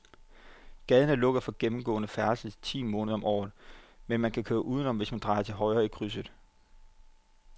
Gaden er lukket for gennemgående færdsel ti måneder om året, men man kan køre udenom, hvis man drejer til højre i krydset.